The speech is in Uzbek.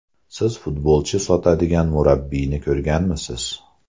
Siz futbolchi sotadigan murabbiyni ko‘rganmisiz?